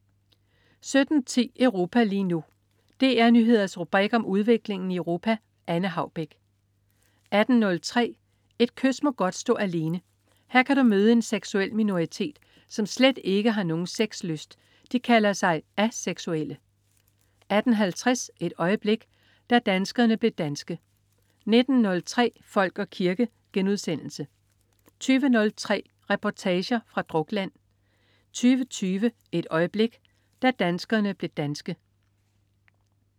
17.10 Europa lige nu. DR Nyheders rubrik om udviklingen i Europa. Anne Haubek 18.03 Et kys må godt stå alene. Her kan du møde en seksuel minoritet, som slet ikke har nogen sexlyst. De kalder sig aseksuelle 18.50 Et øjeblik. Da danskerne blev danske 19.03 Folk og kirke* 20.03 Reportager fra Drukland 20.20 Et øjeblik. Da danskerne blev danske